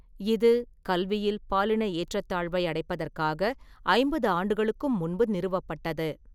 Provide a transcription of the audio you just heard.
இது, கல்வியில் பாலின ஏற்றத்தாழ்வை அடைப்பதற்காக ஐம்பது ஆண்டுகளுக்கும் முன்பு நிறுவப்பட்டது.